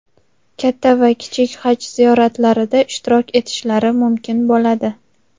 katta va kichik Haj ziyoratlarida ishtirok etishlari mumkin bo‘ladi.